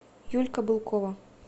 юлька былкова